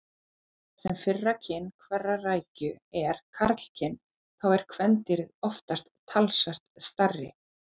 Þar sem fyrra kyn hverrar rækju er karlkyn þá eru kvendýrin oftast talsvert stærri.